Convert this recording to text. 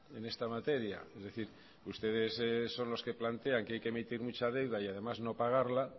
en esta materia es decir ustedes son los que plantean que hay que emitir mucha deuda y además no pagarla